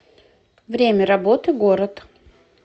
время работы город